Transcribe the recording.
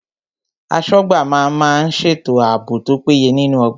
Aṣọ́gbà má ń má ń ṣètò ààbò tó péye nínú ọgbà